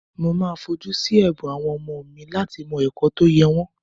Mo máa fojú sí ẹ̀bùn àwọn ọmọ láti mọ ẹ̀kọ́ tó yẹ wọ́n